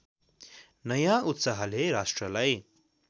नयाँ उत्साहले राष्ट्रलाई